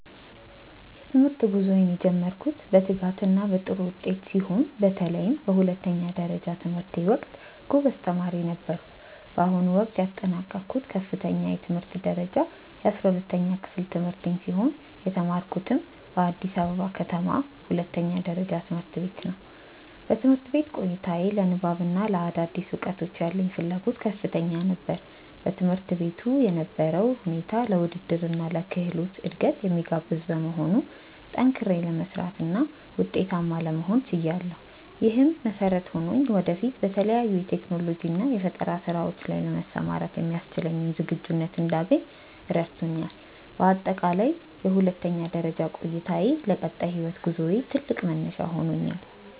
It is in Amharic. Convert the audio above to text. የትምህርት ጉዞዬን የጀመርኩት በትጋትና በጥሩ ውጤት ሲሆን፣ በተለይም በሁለተኛ ደረጃ ትምህርቴ ወቅት ጎበዝ ተማሪ ነበርኩ። በአሁኑ ወቅት ያጠናቀቅኩት ከፍተኛ የትምህርት ደረጃ የ12ኛ ክፍል ትምህርቴን ሲሆን፣ የተማርኩትም በአዲስ ከተማ ሁለተኛ ደረጃ ትምህርት ቤት ነው። በትምህርት ቆይታዬ ለንባብና ለአዳዲስ እውቀቶች ያለኝ ፍላጎት ከፍተኛ ነበር። በትምህርት ቤቱ የነበረው ሁኔታ ለውድድርና ለክህሎት እድገት የሚጋብዝ በመሆኑ፣ ጠንክሬ ለመስራትና ውጤታማ ለመሆን ችያለሁ። ይህም መሰረት ሆኖኝ ወደፊት በተለያዩ የቴክኖሎጂና የፈጠራ ስራዎች ላይ ለመሰማራት የሚያስችለኝን ዝግጁነት እንዳገኝ ረድቶኛል። በአጠቃላይ የሁለተኛ ደረጃ ቆይታዬ ለቀጣይ የህይወት ጉዞዬ ትልቅ መነሻ ሆኖኛል።